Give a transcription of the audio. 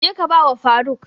Je ka ba wa faruk!